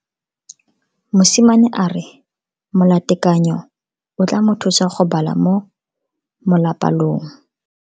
Mosimane a re molatekanyô o tla mo thusa go bala mo molapalong.